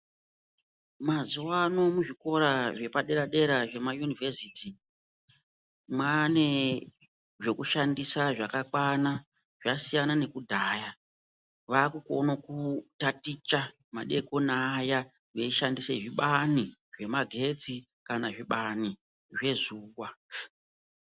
Mazuwaano muzvikora zvepadera dera zvemayunivheziti mwane zvekushandisa zvakakwana zvasiyana nekudhaya vakukone kutaticha madekoni aya veyishandisa zvibani zvemagetsi kana zvibani zvezuwa.